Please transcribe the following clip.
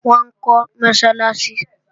Wọ́n ń kọ́ Mọ́sálásí